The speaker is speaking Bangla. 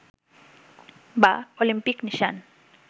বা অলিম্পিক নিশান